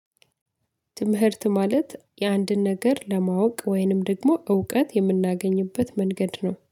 ትምህርት ማለት የአንድን ነገር ለማወቅ ወይንም ደግሞ እውቀት የምናገኝበት መንገድ ነው።